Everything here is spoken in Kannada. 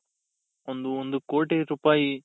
ಒಂದು ಒಂದು ಕೋಟಿ ರೂಪಾಯಿ